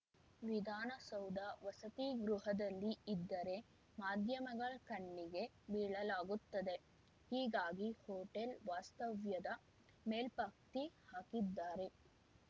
ವಿಧಾನಸೌಧ ವಸತಿಗೃಹಗಳಲ್ಲಿ ಇದ್ದರೆ ಮಾಧ್ಯಮಗಳ ಕಣ್ಣಿಗೆ ಬೀಳಲಾಗುತ್ತದೆ ಹೀಗಾಗಿ ಹೊಟೇಲ್‌ ವಾಸ್ತವ್ಯದ ಮೇಲ್ಪಂಕ್ತಿ ಹಾಕಿದ್ದಾರೆ